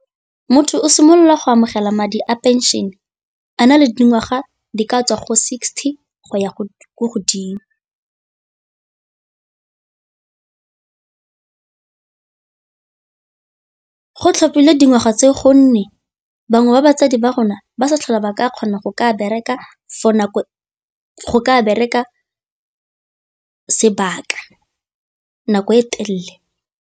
Motho o simolola go amogela madi a pension a na le dingwaga di ka tswa go sixty go ya go ko godimo, go tlhophilwe dingwaga tse gonne bangwe ba batsadi ba rona ba sa tlhola ba ka kgona go ka bereka go ka bereka sebaka nako e telele.